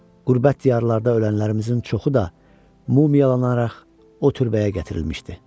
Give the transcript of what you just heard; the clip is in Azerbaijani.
Qürbət diyarlarda ölənlərimizin çoxu da mumiyalanaraq o türbəyə gətirilmişdi.